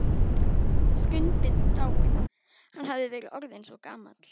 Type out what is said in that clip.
Skundi dáinn, hann hafði verið orðinn svo gamall.